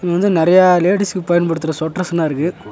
இங்க வந்து நெறையா லேடீஸ்க்கு பயன்படுத்தர சொட்டர்ஸ்லா இருக்கு.